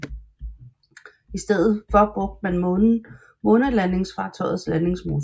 I stedet for brugte man månelandingsfartøjets landingsmotor